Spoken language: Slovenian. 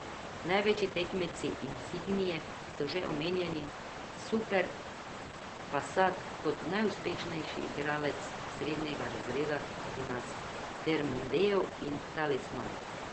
Največji tekmeci insignie so že omenjeni superb, passat kot najuspešnejši igralec srednjega razreda pri nas, ter mondeo in talisman.